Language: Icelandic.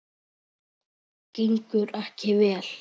Gengur ekki vel?